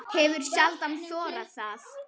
Hefur sjaldan þorað það.